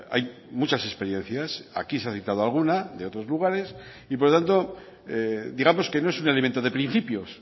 hay muchas experiencias aquí se ha citado alguna de otros lugares y por tanto digamos que no es un elemento de principios